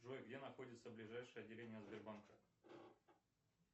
джой где находится ближайшее отделение сбербанка